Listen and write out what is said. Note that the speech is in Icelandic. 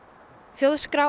þjóðskrá